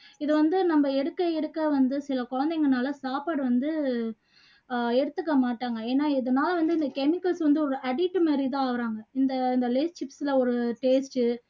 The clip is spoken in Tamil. இது வந்து நம்ம எடுக்க எடுக்க வந்து சில குழந்தைங்கனால சாப்பாடு வந்து ஆஹ் எடுத்துக்க மாட்டாங்க ஏன்னா இதனால வந்து இந்த chemicals வந்து addict மாதிரி தான் ஆகுறாங்க இந்த lays chips ல உள்ள taste உ